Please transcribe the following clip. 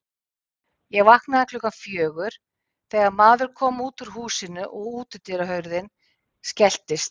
Ég vaknaði klukkan fjögur þegar maður kom út úr húsinu og útihurðin skelltist.